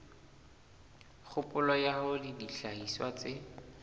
kgopolo ya hore dihlahiswa tse